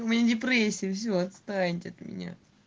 у меня депрессия всё отстаньте от меня